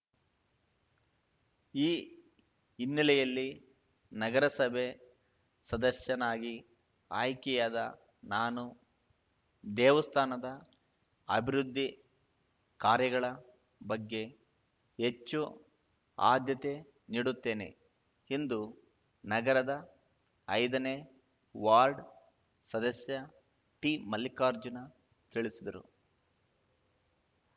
ಈ ಹಿನ್ನೆಲೆಯಲ್ಲಿ ನಗರಸಭೆ ಸದಸ್ಯನಾಗಿ ಆಯ್ಕೆಯಾದ ನಾನು ದೇವಸ್ಥಾನದ ಅಭಿವೃದ್ಧಿ ಕಾರ್ಯಗಳ ಬಗ್ಗೆ ಹೆಚ್ಚು ಆದ್ಯತೆ ನೀಡುತ್ತೇನೆ ಎಂದು ನಗರದ ಐದನೇ ವಾರ್ಡ್‌ ಸದಸ್ಯ ಟಿಮಲ್ಲಿಕಾರ್ಜುನ ತಿಳಿಸಿದರು